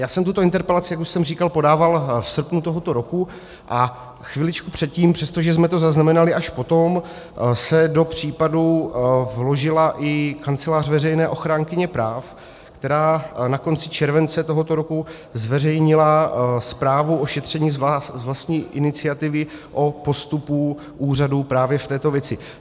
Já jsem tuto interpelaci, jak už jsem říkal, podával v srpnu tohoto roku, a chviličku předtím, přestože jsme to zaznamenali až potom, se do případu vložila i Kancelář veřejné ochránkyně práv, která na konci července tohoto roku zveřejnila zprávu o šetření z vlastní iniciativy o postupu úřadů právě v této věci.